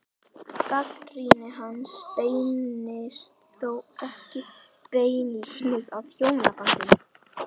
Gagnrýni hans beinist þó ekki beinlínis að hjónabandinu.